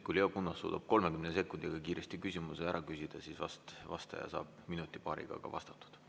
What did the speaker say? Kui Leo Kunnas suudab 30 sekundiga kiiresti küsimuse ära küsida, siis vast vastaja saab minuti-paariga vastatud.